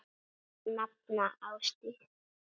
Þín nafna, Ásdís.